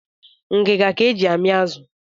Ngiga ka e ji amị azụ